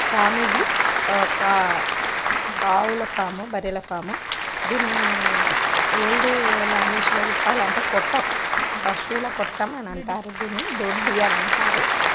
Form ఇది ఒక ఆవుల ఫామ్ . బర్రెల ఫామ్ . దీన్ని ఓల్డ్ లాంగ్వేజ్ లో చెప్పాలంటే కొట్టం. దీన్ని పశువుల కొట్టమంటారు దీన్ని. దొడ్డి అని అంటారు.